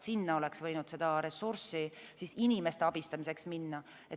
Sinna oleks võinud seda ressurssi inimeste abistamiseks minna.